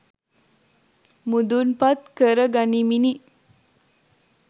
මුදුන්පත් කරගනිමිනි.